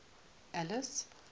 alice